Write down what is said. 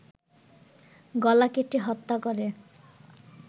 গলা কেটে হত্যা করে